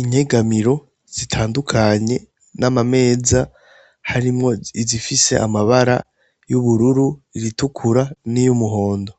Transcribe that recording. inyegamiro zitandukanye, n'amameza harimwo izifis'amabara ,izitukura niy'umuhondo .